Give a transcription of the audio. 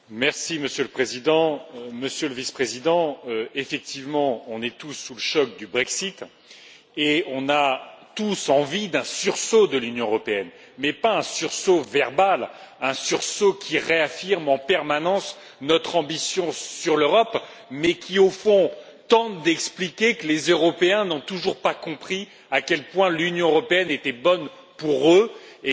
Monsieur le Président, Monsieur le Vice président, effectivement, nous sommes tous sous le choc du Brexit et nous avons tous envie d'un sursaut de l'Union européenne, mais pas d'un sursaut verbal, qui réaffirme en permanence notre ambition pour l'Europe et qui, au fond, tente d'expliquer que les Européens n'ont toujours pas compris à quel point l'Union européenne était bonne pour eux, et